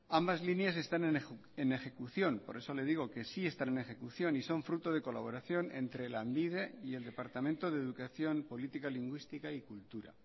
ambas líneas están en ejecución por eso le digo que sí están en ejecución y son fruto de colaboración entre lanbide y el departamento de educación política lingüística y cultura